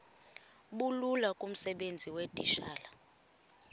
bulula kumsebenzi weetitshala